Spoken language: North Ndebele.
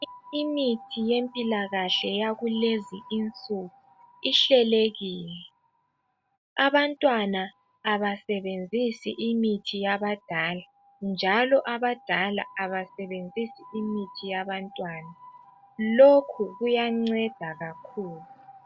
Imithi yempilakahle yakulezinsuku ihlelekile. Abantwana abasebenzisi imithi yabadala njalo abadala abasebenzisi imithi yabantwana. Lokhu kuyanceda kakhulu.